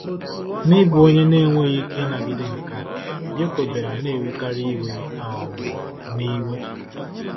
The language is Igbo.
N'ịbụ onye na-enweghị ike ịnagide nke a, Yoko bịara na-ewekarị iwe um na iwe..